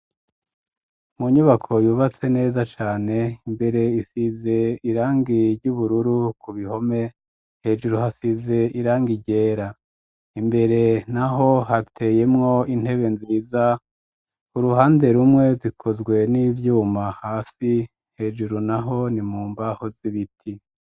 Mu nyubako yubatse neza cane imbere isize irangi ryubururu, ku bihome hejuru hasize irangi ryera, imbere naho hateyemwo intebe nziza uruhande rumwe zikozwe n'ivyuma hasi hejuru naho ni mu mbaho z'ibiti.